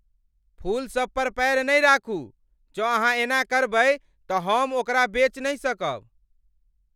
फूलसभ पर पैर नहि राखू! जौं अहाँ एना करबै तऽ हम ओकरा बेच नहि सकब!